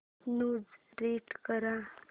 news read कर